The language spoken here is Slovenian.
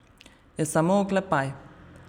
Je samo oklepaj.